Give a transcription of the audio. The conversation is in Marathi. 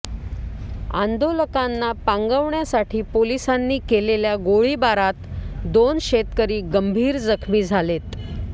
आंदोलकांना पांगवण्यासाठी पोलिसांनी केलेल्या गोळीबारात दोन शेतकरी गंभीर जखमी झालेत